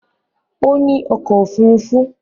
Ó ní ọkọ̀ òfurufú